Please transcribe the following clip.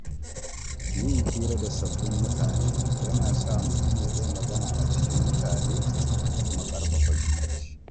Yin hira da sabbin mutane yana sa mutam ya iya magana a cikin mutane da kuma ƙarfafa zumunci.